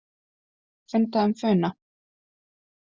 Fundað um Funa